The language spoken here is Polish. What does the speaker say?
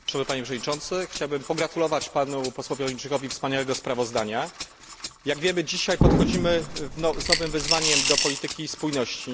Panie Przewodniczący! Chciałbym pogratulować panu posłowi Olejniczakowi wspaniałego sprawozdania. Jak wiemy, dzisiaj podchodzimy z nowym wyzwaniem do polityki spójności.